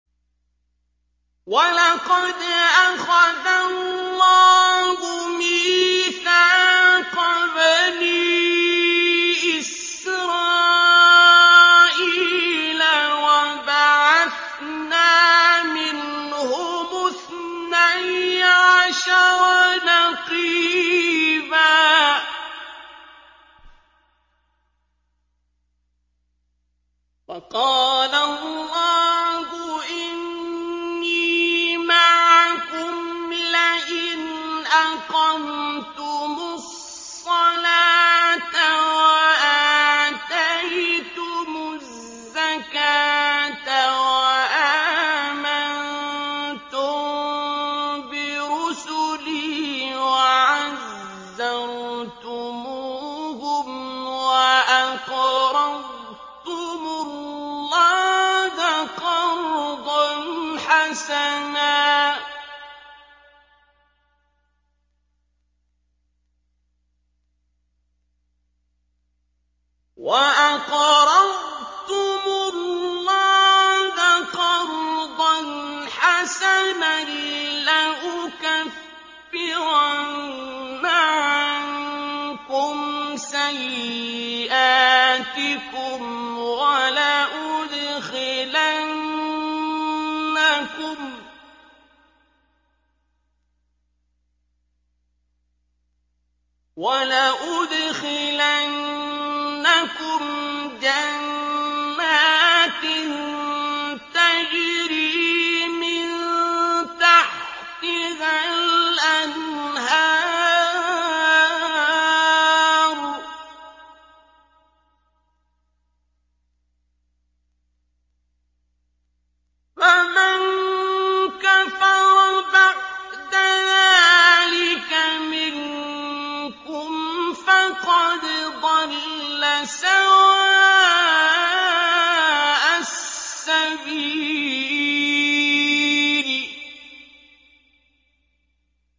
۞ وَلَقَدْ أَخَذَ اللَّهُ مِيثَاقَ بَنِي إِسْرَائِيلَ وَبَعَثْنَا مِنْهُمُ اثْنَيْ عَشَرَ نَقِيبًا ۖ وَقَالَ اللَّهُ إِنِّي مَعَكُمْ ۖ لَئِنْ أَقَمْتُمُ الصَّلَاةَ وَآتَيْتُمُ الزَّكَاةَ وَآمَنتُم بِرُسُلِي وَعَزَّرْتُمُوهُمْ وَأَقْرَضْتُمُ اللَّهَ قَرْضًا حَسَنًا لَّأُكَفِّرَنَّ عَنكُمْ سَيِّئَاتِكُمْ وَلَأُدْخِلَنَّكُمْ جَنَّاتٍ تَجْرِي مِن تَحْتِهَا الْأَنْهَارُ ۚ فَمَن كَفَرَ بَعْدَ ذَٰلِكَ مِنكُمْ فَقَدْ ضَلَّ سَوَاءَ السَّبِيلِ